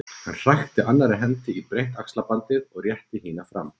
Hann krækti annarri hendi í breitt axlaband og rétti hina fram.